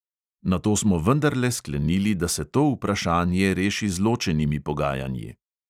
Nato smo vendarle sklenili, da se to vprašanje reši z ločenimi pogajanji.